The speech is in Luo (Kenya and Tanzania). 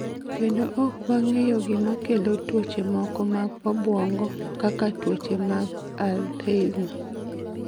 Kendo ok wang�eyo gima kelo tuoche moko mag obwongo, kaka tuoche mag Alzheimer .